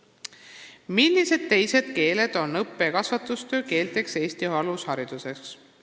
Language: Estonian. "Millised teised keeled on õppe- ja kasvatustöö keelteks Eesti alushariduses?